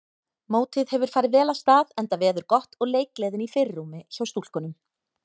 Mótið hefur farið vel af stað enda veður gott og leikgleðin í fyrirrúmi hjá stúlkunum.